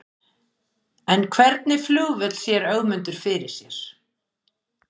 En hvernig flugvöll sér Ögmundur fyrir sér?